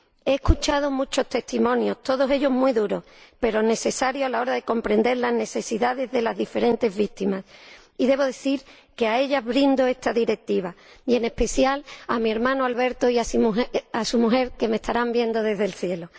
He escuchado muchos testimonios, todos ellos muy duros, pero necesarios a la hora de comprender las necesidades de las diferentes víctimas, y debo decir que a ellas brindo esta Directiva, y en especial a mi hermano Alberto y a su mujer, que me estarán viendo desde el cielo.